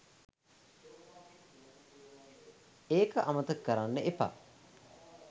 ඒක අමතක කරන්න එපා